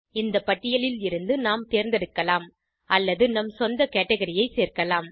இந்த பட்டியலில் இருந்து நாம் தேர்ந்தெடுக்கலாம் அல்லது நம் சொந்த கேட்கரி ஐ சேர்க்கலாம்